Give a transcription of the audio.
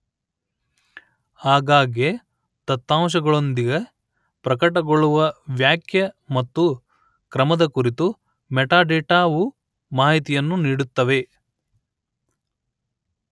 ಆಗಾಗ್ಗೆ ದತ್ತಾಂಶಗಳೊಂದಿಗೆ ಪ್ರಕಟಗೊಳ್ಳುವ ವ್ಯಾಖ್ಯೆ ಮತ್ತು ಕ್ರಮದ ಕುರಿತು ಮೆಟಾಡೇಟಾವು ಮಾಹಿತಿಯನ್ನು ನೀಡುತ್ತವೆ